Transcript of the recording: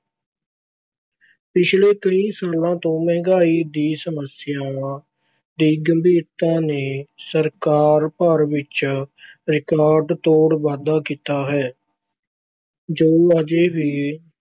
ਪਿਛਲੇ ਕਈ ਸਾਲਾਂ ਤੋਂ ਮਹਿੰਗਾਈ ਦੀ ਸਮੱਸਿਆ ਦੀ ਗੰਭੀਰਤਾ ਨੇ ਸਰਕਾਰ ਭਰ ਵਿੱਚ ਰਿਕਾਰਡ-ਤੋੜ ਵਾਧਾ ਕੀਤਾ ਹੈ ਜੋ ਅਜੇ ਵੀ